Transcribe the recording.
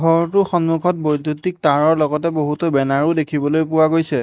ঘৰটোৰ সন্মুখত বৈদ্যুতিক তাঁৰৰ লগতে বহুতো বেনাৰ ও দেখিবলৈ পোৱা গৈছে।